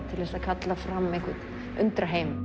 til þess að kalla fram einhvern undraheim